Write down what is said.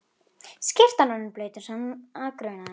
Skyrtan orðin blaut eins og hana grunaði.